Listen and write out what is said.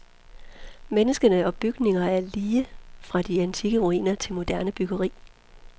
Menneskene og bygninger er lige fra de antikke ruiner til moderne byggeri.